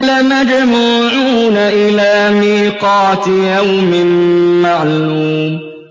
لَمَجْمُوعُونَ إِلَىٰ مِيقَاتِ يَوْمٍ مَّعْلُومٍ